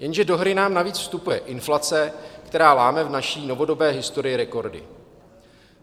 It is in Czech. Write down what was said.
Jenže do hry nám navíc vstupuje inflace, která láme v naší novodobé historii rekordy.